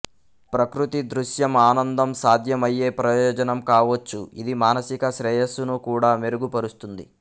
ప్రకృతి దృశ్యం ఆనందం సాధ్యమయ్యే ప్రయోజనం కావచ్చు ఇది మానసిక శ్రేయస్సును కూడా మెరుగుపరుస్తుంది